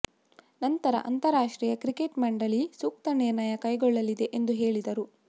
ನಂತರ ಅಂತರರಾಷ್ಟ್ರೀಯ ಕ್ರಿಕೆಟ್ ಮಂಡಳೀ ಸೂಕ್ತ ನಿರ್ಣಯ ಕೈಗೊಳ್ಳಲಿದೆ ಎಂದು ಹೇಳಿದರು